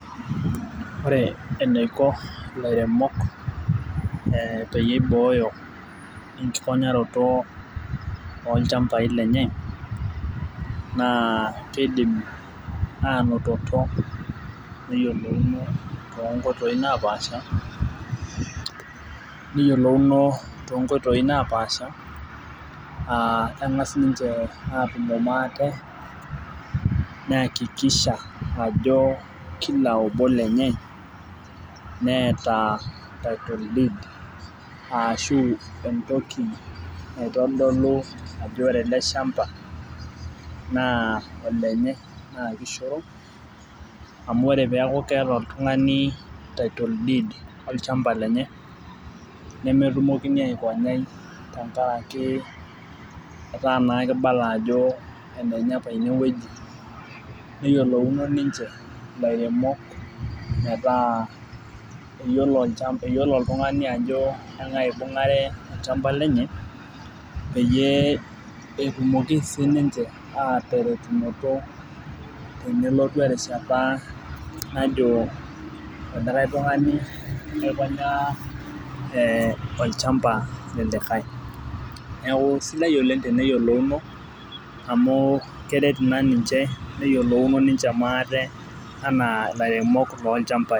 ore eniko ilairemok peyie iboyo enkikonyaroto oo ichambai lenye, naa kidim anototo neyiolouno too nkoitoi naa pasha , aa keng'as niche aatumo maate neyakikisha ajo kila obo lenye neeta title deed ashu entoki naitodolu ajo ore ele shamba naa olenye naa kishoro amu ore pee eku keeta oltung'ani title deed olchamba lenye nemetumokini aikonyai tenkaraki etaa naa kibala ajo enenye apa ine weji , neyiolouno niche ilairemok meetaa eyiolo oltung'ani ajo eng'ae ibung'are olchamba lenye peyie etumoki sii ninche ateretokinoto tenelotu erishata najo likae tung'ani aikonyaa ee olchamba lelikae neeku sidai oleng' teneyiolouno , amu keret naa niche teneyiolouno enaa ilairemok loo ilchambai.